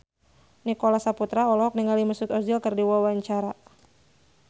Nicholas Saputra olohok ningali Mesut Ozil keur diwawancara